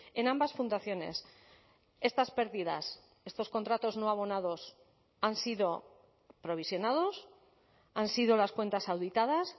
en ambas fundaciones estas pérdidas estos contratos no abonados han sido provisionados han sido las cuentas auditadas